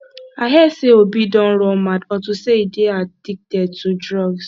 i hear say obi don run mad unto say he dey addicted to drugs